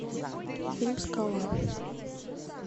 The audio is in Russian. фильм скала